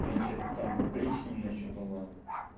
значит там опричнина ещё была